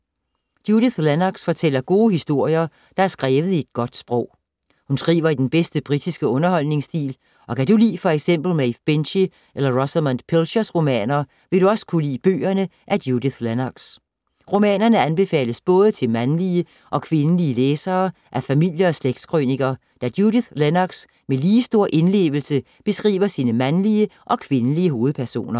Judith Lennox fortæller gode historier, der er skrevet i et godt sprog. Hun skriver i den bedste britiske underholdningsstil og kan du lide f.eks. Maeve Binchy eller Rosamunde Pilchers romaner, vil du også kunne lide bøgerne af Judith Lennox. Romanerne anbefales både til mandlige og kvindelige læsere af familie- og slægtskrøniker, da Judith Lennox med lige stor indlevelse beskriver sine mandlige og kvindelige hovedpersoner.